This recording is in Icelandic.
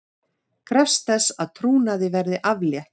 Krefst þess að trúnaði verði aflétt